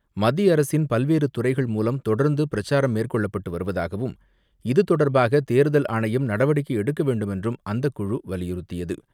மத்திய அரசின் பல்வேறு துறைகள் மூலம் தொடர்ந்து பிரச்சாரம் மேற்கொள்ளப்பட்டு வருவதாகவும், இது தொடர்பாக தேர்தல் ஆணையம் நடவடிக்கை எடுக்க வேண்டுமென்றும் அந்தக்குழு வலியுறுத்தியது.